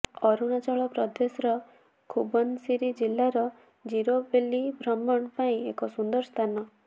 ଅରୁଣାଚଳ ପ୍ରଦେଶର ଖୁବନସିରୀ ଜିଲ୍ଲାର ଜିରୋ ବେଲୀ ଭ୍ରମଣ ପାଇଁ ଏକ ସୁନ୍ଦର ସ୍ଥାନ